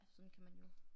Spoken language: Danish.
Sådan kan man jo